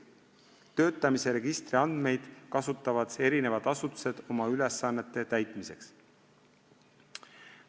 Töötamise registri andmeid kasutavad eri asutused oma ülesannete täitmiseks.